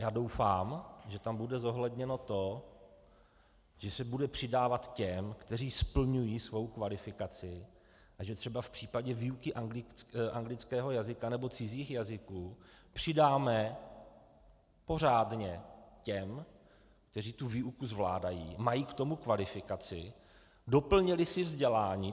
Já doufám, že tam bude zohledněno to, že se bude přidávat těm, kteří splňují svou kvalifikaci a že třeba v případě výuky anglického jazyka nebo cizích jazyků přidáme pořádně těm, kteří tu výuku zvládají, mají k tomu kvalifikaci, doplnili si vzdělání.